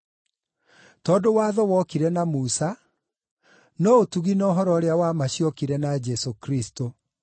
Tondũ watho wokire na Musa, no ũtugi na ũhoro ũrĩa wa ma ciokire na Jesũ Kristũ.